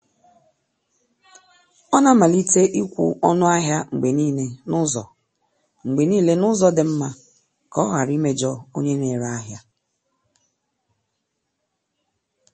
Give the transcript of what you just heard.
Ọ na-amalite ịkwụ ọnụ ahịa mgbe niile n’ụzọ mgbe niile n’ụzọ dị mma ka ọ ghara imejọ onye na-ere ahịa.